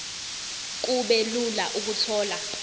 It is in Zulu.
kube lula ukuthola